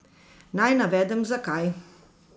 Naj navedem, zakaj.